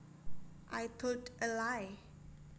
I told a lie